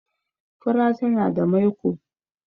fura tana da maiko